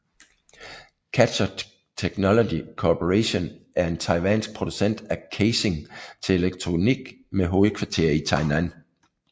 Catcher Technology Corporation er en taiwansk producent af casing til elektronik med hovedkvarter i Tainan